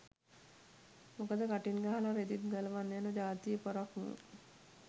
මොකද කටින් ගහල රෙදිත් ගලවන් යන ජාතියෙ පොරක් මූ